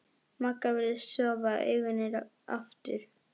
Magga virðist sofa, augun eru aftur.